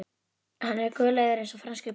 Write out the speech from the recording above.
Hann er guleygður eins og franskur bíll